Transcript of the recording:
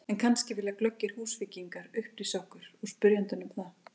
En kannski vilja glöggir Húsvíkingar upplýsa okkur og spyrjandann um það?